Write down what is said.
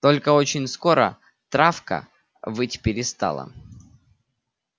только очень скоро травка выть перестала